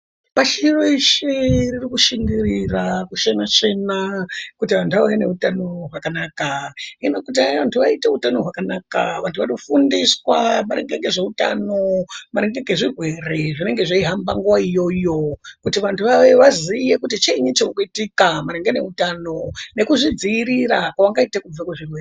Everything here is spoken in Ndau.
Pashi reshe ririkushingirira kushena shena kuti antu ave neutano hwakanaka hino kuti antu aite utano hwakanaka vantu vanofundiswa maringe ngezveutano maringe ngezvirwere zvinenge zveihamba nguwa iyoyo kuti vantu vaziye kuti chiini chirikuitika maringe ngeutano nekuzvidziirira kwavangaite kubve kuzvirwere.